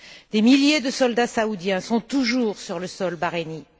Des milliers de soldats saoudiens sont toujours sur le sol bahreïnien.